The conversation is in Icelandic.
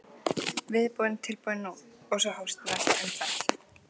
Viðbúinn, tilbúinn- nú! og svo hófst næsta umferð.